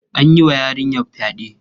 An yi wa yarinya fyaɗe.